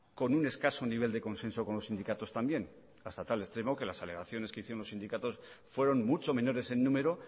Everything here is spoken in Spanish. con un escaso nivel de consenso con los sindicatos también hasta tal extremo que las alegaciones que hicieron los sindicatos fueron mucho menores en número